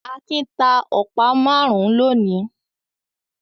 Akin ta ọ̀pá márùn-ún lónìí?